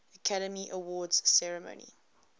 academy awards ceremony